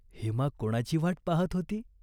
हेमा कोणाची वाट पाहात होती ?